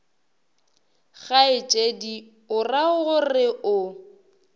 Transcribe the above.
kgaetšedi o ra gore o